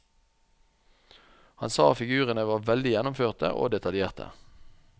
Han sa figurene var veldig gjennomførte og detaljerte.